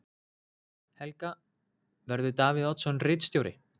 Helga: Verður Davíð Oddsson ritstjóri?